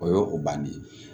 O y'o o banni ye